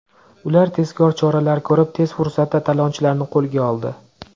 Ular tezkor choralar ko‘rib, tez fursatda talonchilarni qo‘lga oldi.